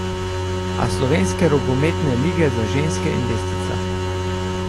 A slovenske rokometne lige za ženske in lestvica.